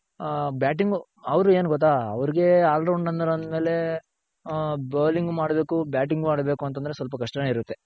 ಹ batting ಅವ್ರ್ ಏನ್ ಗೊತ್ತ ಅವರ್ಗೆ all rounder ಅಂದ್ಮೇಲೆ ಹ bowling ಮಾಡ್ಬೇಕು, batting ಆಡ್ಬೇಕು ಅಂತ ಅಂದ್ರೆ ಸ್ವಲ್ಪ ಕಷ್ಟನೆ ಇರುತ್ತೆ.